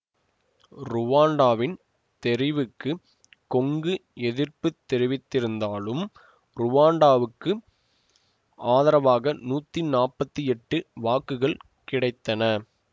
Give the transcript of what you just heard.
ருவாண்டாவின் தெரிவுக்கு கொங்கு எதிர்ப்பு தெரிவித்திருந்தாலும் ருவாண்டாவுக்கு ஆதரவாக நூத்தி நாப்பத்தி எட்டு வாக்குகள் கிடைத்தன